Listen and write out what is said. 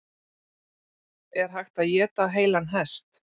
Er hægt að éta heilan hest?